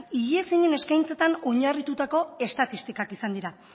eskaintzetan oinarritutako estatistikak izan dira